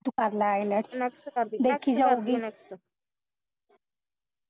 ਤੂੰ ਕਰਲਾ ielts ਦੇਖੀ ਜਾਊਗੀ